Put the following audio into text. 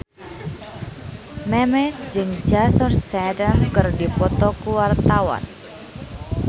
Memes jeung Jason Statham keur dipoto ku wartawan